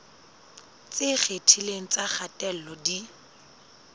tse ikgethileng tsa kgatello di